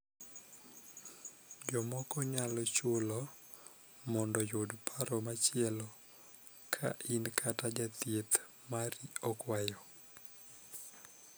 Jomoko nyalo chulo mondoyud paro machielo ka in kata jathieth mari okwayo.